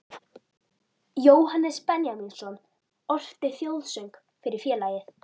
Jóhannes Benjamínsson orti þjóðsöng fyrir félagið